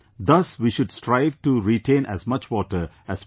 Thus we should strive to retain as much water as possible